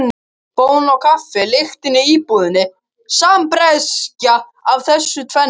Bón og kaffi lyktin í íbúðinni sambreyskja af þessu tvennu.